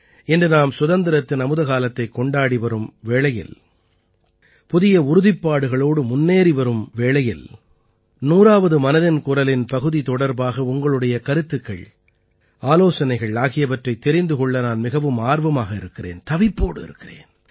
இன்று நாம் சுதந்திரத்தின் அமுதகாலத்தைக் கொண்டாடி வரும் வேளையில் புதிய உறுதிப்பாடுகளோடு முன்னேறி வரும் வேளையில் 100ஆவது மனதின் குரலின் பகுதி தொடர்பாக உங்களுடைய கருத்துக்கள் ஆலோசனைகள் ஆகியவற்றைத் தெரிந்து கொள்ள நான் மிகவும் ஆர்வமாக இருக்கிறேன் தவிப்போடு காத்திருக்கிறேன்